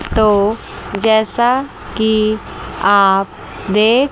तो जैसा कि आप देख--